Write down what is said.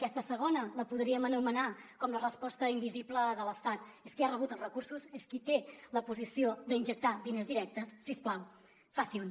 aquesta segona la podríem anomenar com la resposta invisible de l’estat és qui ha rebut els recursos és qui té la posició d’injectar diners directes si us plau facin ho